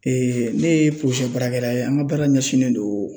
ne ye baarakɛla ye an ka baara ɲɛsinnen don